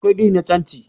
akwai gini na tanti